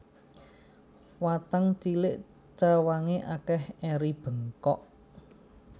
Watang cilik cawange akeh eri bengkok